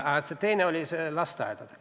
Te puudutasite ka lasteaedu.